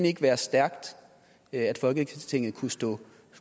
ikke være stærkt at folketinget kunne stå